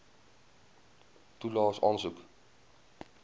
toelaes aansoek